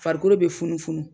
Farikolo bɛ funufunu.